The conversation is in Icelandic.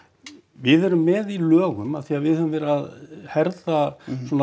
við erum með í lögum af því að við höfum verið að herða